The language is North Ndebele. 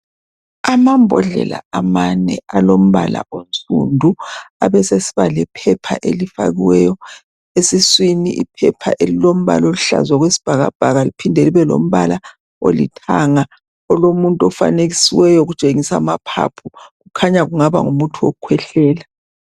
Amambodlela amane alombala onsundu abesesiba lephepha elifakiweyo esiswini, iphepha elilombala oluhlaza okwesibhakabhaka liphinde libe lombala olithanga olomuntu ofanekisiweyo kutshengiswa amaphaphu kukhanya kungaba ngumuthi wokukhwehlela